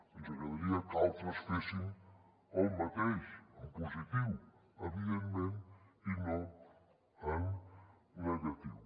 ens agradaria que altres fessin el mateix en positiu evidentment i no en negatiu